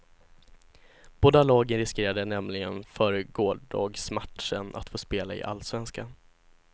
Båda lagen riskerade nämligen före gårdagsmatchen att få spela i allsvenskan.